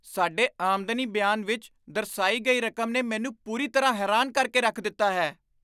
ਸਾਡੇ ਆਮਦਨੀ ਬਿਆਨ ਵਿੱਚ ਦਰਸਾਈ ਗਈ ਰਕਮ ਨੇ ਮੈਨੂੰ ਪੂਰੀ ਤਰ੍ਹਾਂ ਹੈਰਾਨ ਕਰ ਕੇ ਰੱਖ ਦਿੱਤਾ ਹੈ।